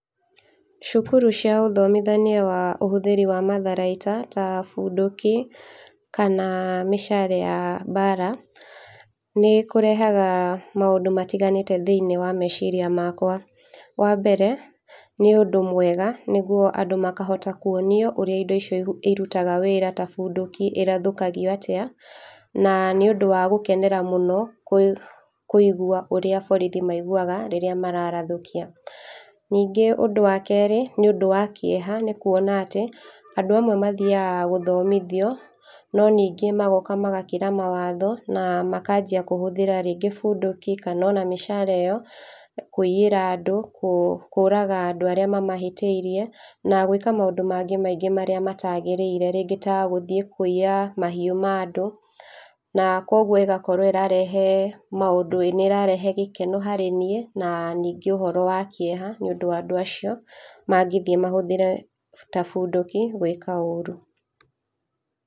Cukuru cia ũthomithania wa ũhũthĩri wa matharaita ta bunduki kana mishale ya mbara nĩ kũrehaga maũndũ matiganĩte thĩinĩ wa meciria makwa. Wambere nĩ ũndũ mwega nĩguo andũ makahota kwonio ũrĩa indo icio ihu irutaga wĩra ta bunduki ĩrathũkagio ĩrathũkagio atĩa na nĩũndũ wa gũkenera mũno kũĩg kũĩgua ũrĩa borithi maĩguaga rĩrĩa mararathũkia. Ningĩ ũndũ wa kerĩ nĩ ũndũ wa kĩeha nĩ kuona atĩ andũ amwe mathiaga gũthomithio no ningĩ magoka magakĩra mawatho na makanjia kũhũthĩra rĩngĩ bunduki kana ona mishale ĩyo kũiyĩra andũ kũ kũraga andũ arĩa mamahĩtĩirie na gwĩka maũndũ mangĩ maingĩ maria matagĩrĩire rĩngĩ ta gũthiĩ kũiya mahiũ ma andũ na kwoguo ĩgakorwo nĩĩrarehe maũndũ. Ĩĩ nĩĩrarehe gĩkeno harĩ niĩ na ningĩ ũhoro wa kieha nĩũndũ wa andũ acio mangĩthiĩ mahũthĩre ta bunduki gwĩka ũũru.